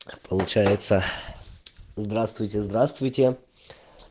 получается здравствуйте здравствуйте